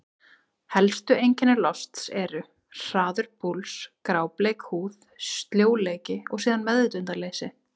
Helstu einkenni losts eru: hraður púls, grábleik húð, sljóleiki og síðan meðvitundarleysi.